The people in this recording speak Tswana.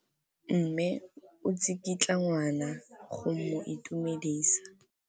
Mme o tsikitla ngwana go mo itumedisa.